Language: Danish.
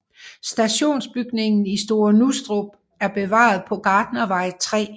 Stationsbygningen i Store Nustrup er bevaret på Gartnervej 3